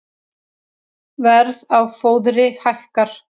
Verð á fóðri hækkar